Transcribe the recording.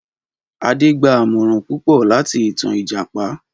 Adé gba àmòràn púpọ̀ láti ìtan Ìjàpá.